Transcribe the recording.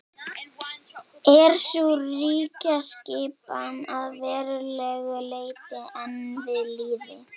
er sú ríkjaskipan að verulegu leyti enn við lýði